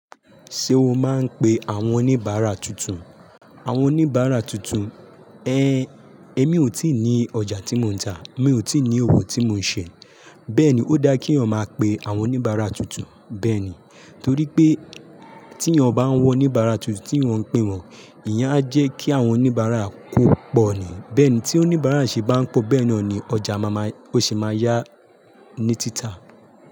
Ṣé o máa ń pe àwọn oníbàárà tuntun? Àwọn oníbàárà tuntun, èmi ò tíì ní ọjà tí mò ń tà, mi ò tíì ní òwò tí mò ń ṣẹ, bẹ́ẹ̀ ni ó dá kí eyan máa pe àwọn oníbàárà tuntun bẹ́ẹ̀ ni. Torí pé tí ìyẹn bá ń wọ oníbàárà tuntun tí eyan ń pe wọn, ìyẹn a jẹ́ kí àwọn oníbàárà kò pọ̀ ni. Bẹ́ẹ̀ ni tí oníbàárà ṣe bá ń pọ̀ bẹ́ẹ̀ ni ọjà máa máa, ó sì máa yá ní títà.